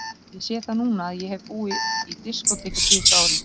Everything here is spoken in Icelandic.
Ég sé það núna að ég hef búið í diskóteki síðustu árin.